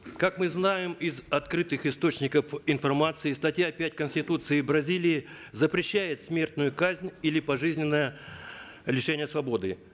как мы знаем из открытых источников информации статья пять конституции бразилии запрещает смертную казнь или пожизненное лишение свободы